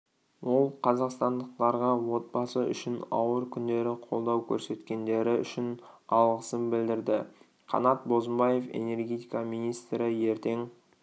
ол қазақстандықтарға отбасы үшін ауыр күндері қолдау көрсеткендері үшін алғысын білдірді қанат бозымбаев энергетика министрі ертең